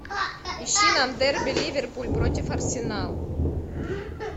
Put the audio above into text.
ищи нам дерби ливерпуль против арсенал